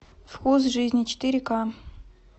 вкус жизни четыре ка